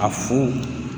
A fu